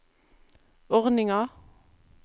ordninga